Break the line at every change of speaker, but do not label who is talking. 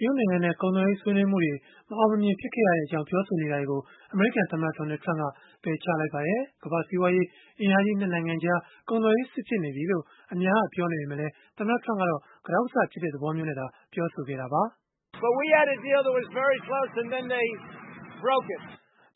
ရုတ်နိုင်ငံနဲ့ ကုန်သွယ်ရေး ဆွေးနွေးမှုတွေ မအောင်မမြင် ဖြစ်ခဲ့ရကြောင်း ပြောဆိုနေတာတွေကို အမေရိကန်သမ္မတ Donald Trump က ပယ်ချလိုက်ပါတယ်။ ကမ္ဘာ့စီးပွားရေး အင်အားကြီး ၂ နိုင်ငံကြား ကုန်သွယ်ရေးစစ် ဖြစ်နေပြီလို့ အများက ပြောနေပေမဲ့လည်း သမ္မတ Trump ကတော့ ကတောက်ကဆ ဖြစ်ကြတဲ့ သဘောမျိုးအဖြစ်နဲ့သာ ပြောဆိုခဲ့တာပါ။